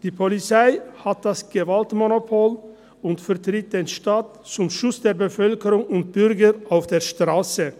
Die Polizei hat das Gewaltmonopol und vertritt den Staat zum Schutz der Bevölkerung und der Bürger auf der Strasse.